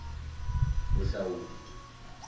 bohlaudi